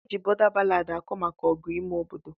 Eji bọda ballad akọ maka ọgụ ime obodo.